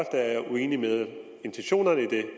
uenige i intentionerne i det